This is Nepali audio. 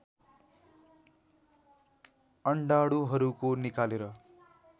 अण्डाणुहरूको निकालेर